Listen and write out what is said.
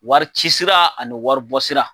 Wari cisira ani wari bɔsira